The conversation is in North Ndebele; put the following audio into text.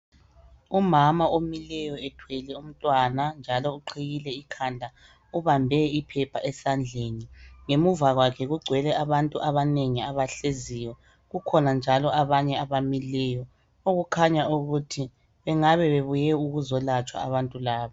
Umama omileyo ethwele umntwana, njalo uqhiyile ekhanda. Ubambe iphepha esandleni, ngemuva kwakhe kugcwele abantu abanengi abahleziyo, kukhona njalo abanye abamileyo, okukhanya ukuthi bengabe bebuye ukuzolatshwa abantu laba.